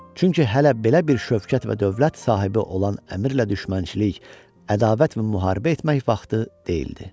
Çünki hələ belə bir şəvkət və dövlət sahibi olan əmirlə düşmənçilik, ədavət və müharibə etmək vaxtı deyildi.